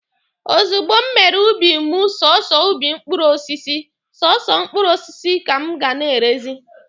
Ozugbo m mere ubi m sọsọ ubi mkpụrụ osisi, sọsọ mkpụrụ osisi ka m ga na-erezi.